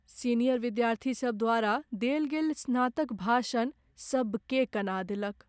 Senior विद्यार्थीसभ द्वारा देल गेल स्नातक भाषण सभकेँ कना देलक।